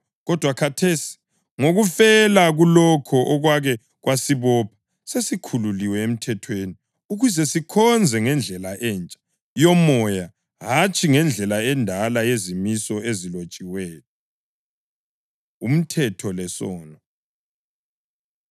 Kodwa khathesi, ngokufela kulokho okwake kwasibopha, sesikhululiwe emthethweni ukuze sikhonze ngendlela entsha yoMoya hatshi ngendlela endala yezimiso ezilotshiweyo. Umthetho Lesono